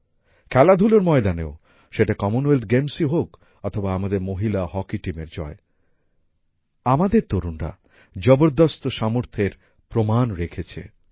খেলাধুলোর ময়দানেও সেটা কমনওয়েলথ গেমসেই হোক অথবা আমাদের মহিলা হকি টিমের জয় আমাদের তরুণরা জবরদস্ত সামর্থ্যের প্রমাণ রেখেছে